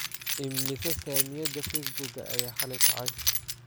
Immisa Saamiyada Facebook-ga ayaa xalay kacay?